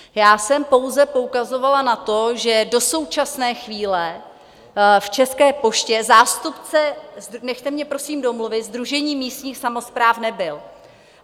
Já jsem pouze poukazovala na to, že do současné chvíle v České poště zástupce - nechte mě prosím domluvit - Sdružení místních samospráv nebyl.